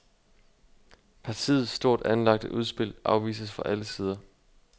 Partiets stort anlagte udspil afvises fra alle sider.